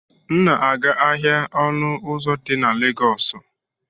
M na-aga ahịa ọnụ ụzọ di na Legọọsụ.